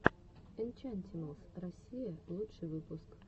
энчантималс россия лучший выпуск